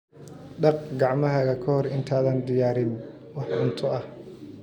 Dhaq gacmahaaga ka hor intaadan diyaarin wax cunto ah.